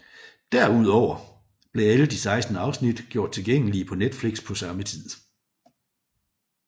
Derudover blev alle de 16 afsnit gjort tilgængelige på Netflix på samme tid